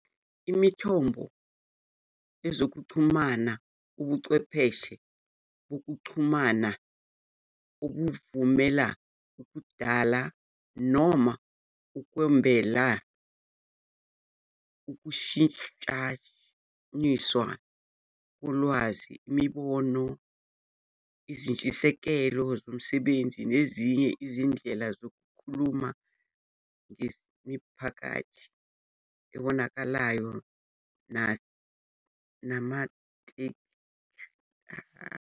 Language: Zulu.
Imithombo yezokuxhumana ubuchwepheshe bokuxhumana obuvumela ukudala noma ukwabelana, ukushintshaniswa kolwazi, imibono, izintshisekelo zomsebenzi, nezinye izindlela zokukhuluma ngemiphakathi ebonakalayo namanethiwekhi.